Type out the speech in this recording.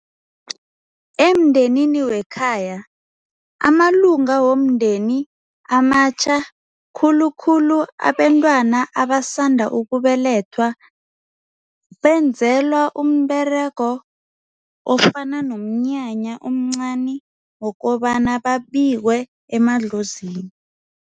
Emndenini wekhaya amalunga womndeni amatjha khulukhulu abentwana abasanda ukubelethwa benzelwa umberego ofana nomnyanya omncani wokobana babikwe emadlozini.